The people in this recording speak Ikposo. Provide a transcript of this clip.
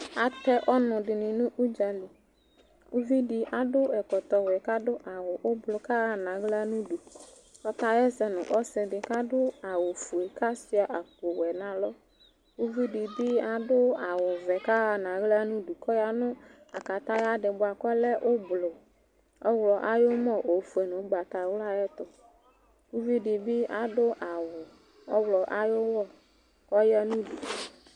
Atɛ ɔnʋ dɩnɩ nʋ ʋdza li Uvi dɩ adʋ ɛkɔtɔwɛ kʋ adʋ awʋ ʋblʋ kʋ aɣa nʋ aɣla nʋ udu Ɔkaɣa ɛsɛ nʋ ɔsɩ dɩ kʋ adʋ awʋfue kʋ asʋɩa akpowɛ nʋ alɔ Uvi dɩ bɩ adʋ awʋvɛ kʋ aɣa nʋ aɣla nʋ udu kʋ ɔya nʋ akataya dɩ bʋa kʋ ɔlɛ ʋblʋ, ɔɣlɔ ayʋ ʋmɔ, ofue nʋ ʋgbatawla ayɛtʋ Uvi dɩ bɩ adʋ awʋ ɔɣlɔ ayʋ ʋmɔ kʋ ɔya nʋ udu